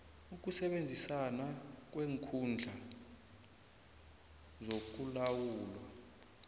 ukusebenzisana kweenkhungo zokulawulwa